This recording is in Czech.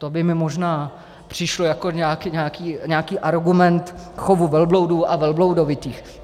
To by mi možná přišlo jako nějaký argument chovu velbloudů a velbloudovitých.